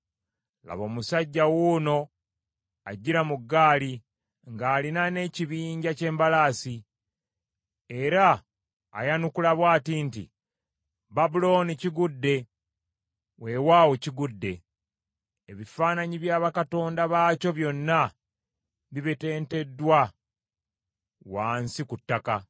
Laba omusajja wuuno ajjira mu ggaali, ng’alina n’ekibinja ky’embalaasi. Era ayanukula bw’ati nti, ‘Babulooni kigudde, weewaawo kigudde. Ebifaananyi bya bakatonda baakyo byonna bibetenteddwa wansi ku ttaka.’ ”